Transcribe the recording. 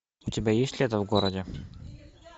у тебя есть лето в городе